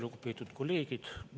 Lugupeetud kolleegid!